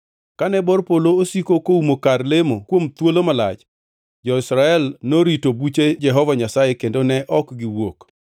Kane bor polo osiko koumo kar lemo kuom thuolo malach, jo-Israel norito buche Jehova Nyasaye kendo ne ok giwuok.